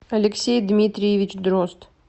алексей дмитриевич дрозд